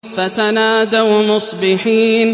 فَتَنَادَوْا مُصْبِحِينَ